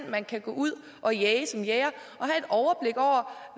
man kan gå ud at jage som jæger og